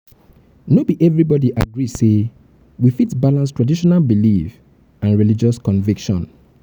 no be everybody agree um sey we fit balance um traditional belief and um religious conviction